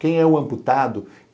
Quem é o amputado?